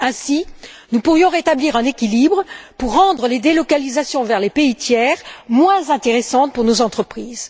Ainsi, nous pourrions rétablir un équilibre pour rendre les délocalisations vers les pays tiers moins intéressantes pour nos entreprises.